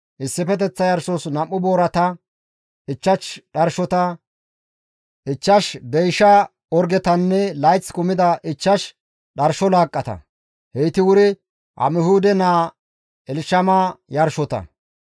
issifeteththa yarshos 2 boorata, 5 dharshota, 5 deysha orgetanne layth kumida 5 dharsho laaqqata; heyti wuri Amihuude naa Elshama yarshota.